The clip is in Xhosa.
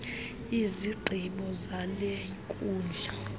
izigqibo zale nkundla